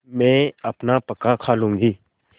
मैं अपना पकाखा लूँगी